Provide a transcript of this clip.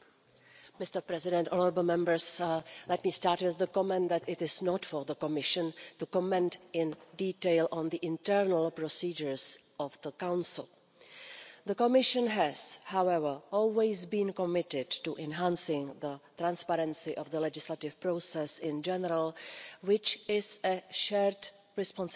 Mr President, let me start with the comment that it is not for the Commission to comment in detail on the internal procedures of the Council. The Commission has however always been committed to enhancing the transparency of the legislative process in general, which is a shared responsibility.